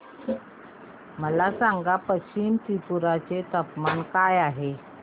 मला सांगा पश्चिम त्रिपुरा चे तापमान काय आहे